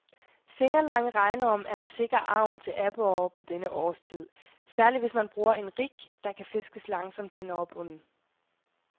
Fingerlange regnorm er en sikker agn til aborrer på denne årstid, særlig hvis man bruger en rig, der kan fiskes langsomt hen over bunden.